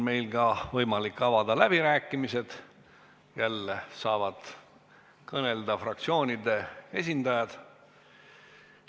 Meil on võimalik avada läbirääkimised, jälle saavad kõnelda fraktsioonide esindajad.